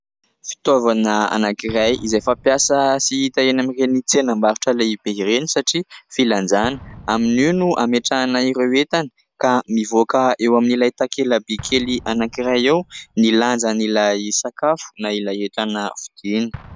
Fitaovana anankiray izay fampiasa sy hita eny amin'ireny tsenam-barotra lehibe ireny satria filanjana. Amin'io no ametrahana ireo entana ka mivoaka eo amin'ilay takelaby kely anankiray eo ny lanjan'ilay sakafo na ilay entana vidiana.